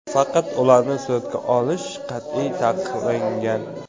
Faqat ularni suratga olish qat’iy taqiqlangan.